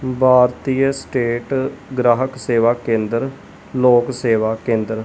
ਭਾਰਤੀਯ state ਗ੍ਰਾਹਕ ਸੇਵਾ ਕੇਂਦਰ ਲੋਕ ਸੇਵਾ ਕੇਂਦਰ।